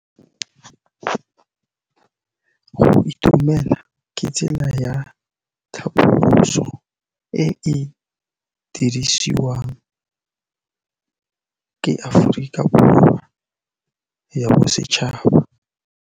Go itumela ke tsela ya tlhapolisô e e dirisitsweng ke Aforika Borwa ya Bosetšhaba.